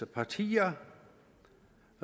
partier